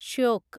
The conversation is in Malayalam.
ഷ്യോക്